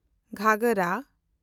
ᱜᱷᱟᱜᱷᱚᱨᱟ